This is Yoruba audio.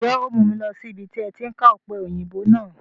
Ǹjẹ́ o mu mi lọ síbi tí ẹ ti ká Ọpẹ́yinbo náà?